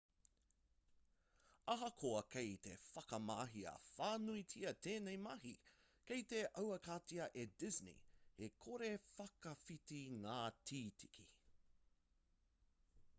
ahakoa kei te whakamahia whānuitia tēnei mahi kei te aukatia e disney he kore-whakawhiti ngā tīkiti